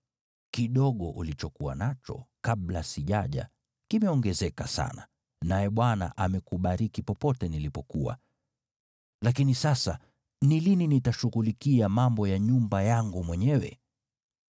Kidogo ulichokuwa nacho kabla sijaja kimeongezeka sana, naye Bwana amekubariki popote nilipokuwa. Lakini sasa, ni lini nitashughulikia mambo ya nyumba yangu mwenyewe?”